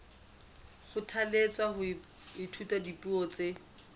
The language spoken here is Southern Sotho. kgothalletswa ho ithuta dipuo tse